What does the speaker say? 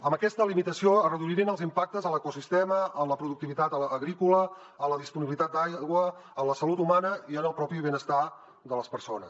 amb aquesta limitació es reduirien els impactes a l’ecosistema a la productivitat agrícola a la disponibilitat d’aigua a la salut humana i al propi benestar de les persones